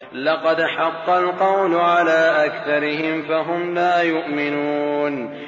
لَقَدْ حَقَّ الْقَوْلُ عَلَىٰ أَكْثَرِهِمْ فَهُمْ لَا يُؤْمِنُونَ